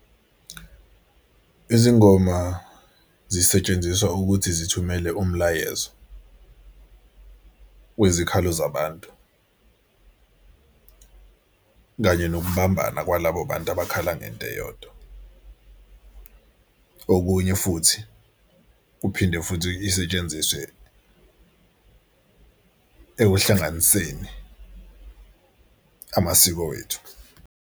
Izingoma zisetshenziswa ukuthi zithumele umlayezo wezikhalo zabantu, kanye nokubambana kwalabo bantu abakhala ngento eyodwa. Okunye futhi kuphinde futhi isetshenziswe ekuhlanganiseni amasiko wethu.